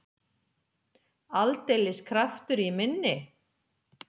Aldeilis kraftur í minni!